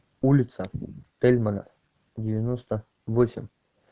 улица тельмана девяноста восемь